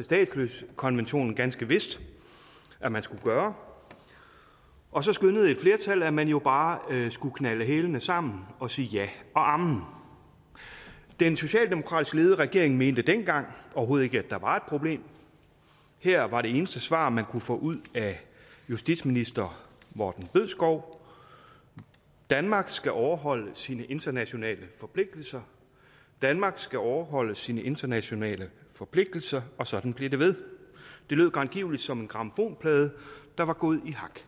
statsløsekonventionen ganske vist at man skulle gøre og så skønnede et flertal at man jo bare skulle knalde hælene sammen og sige ja og amen den socialdemokratisk ledede regering mente dengang overhovedet ikke at der var et problem her var det eneste svar man kunne få ud af justitsminister morten bødskov danmark skal overholde sine internationale forpligtelser danmark skal overholde sine internationale forpligtelser og sådan blev det ved det lød grangiveligt som en grammofonplade der var gået i hak